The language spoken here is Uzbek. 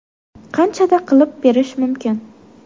Qanchada qilib berish mumkin?